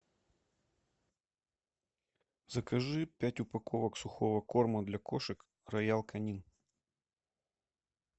закажи пять упаковок сухого корма для кошек роял канин